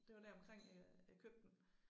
Det var deromkring øh jeg købte den